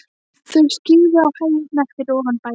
Þau skyggðu á hæðirnar fyrir ofan bæinn.